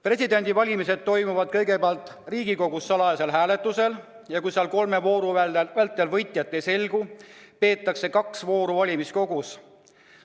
Presidendi valimine toimub kõigepealt Riigikogus salajasel hääletusel ja kui seal kolme vooru vältel võitjat ei selgu, peetakse kaks vooru valimiskogus.